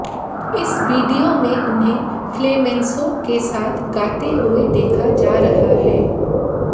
इस वीडियो में उन्हें फ्लेमेंसो के साथ गाते हुए देखा जा रहा है